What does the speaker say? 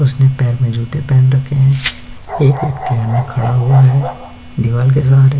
उसने पैर में जूते पहन रखे हैं। एक व्यक्ति अन्य खड़ा हुआ हैं दीवाल के सहारे।